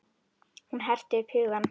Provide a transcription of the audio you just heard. Hún herti upp hugann.